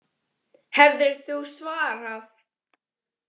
Hefðir þú svarað?